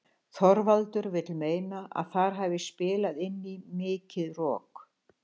Þorvaldur vill meina að þar hafi spilað inn í mikið rok.